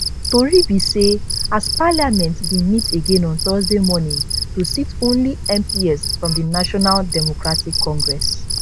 tori be say as parliament bin meet again on thursday morning to sit only mps from di national democratic congress